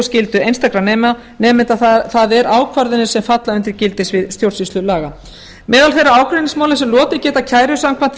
skyldu einstakra nemenda það er ákvarðanir sem falla undir gildissvið stjórnsýslulaga meðal þeirra ágreiningsmála sem lotið geta kæru samkvæmt